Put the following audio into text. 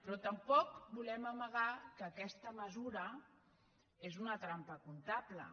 però tampoc volem amagar que aquesta mesura és una trampa comptable